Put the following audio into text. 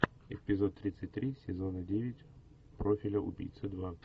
эпизод тридцать три сезона девять профиля убийцы два